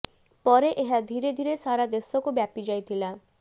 ପରେ ଏହା ଧିରେ ଧିରେ ସାରା ଦେଶକୁ ବ୍ୟାପି ଯାଇଥିଲା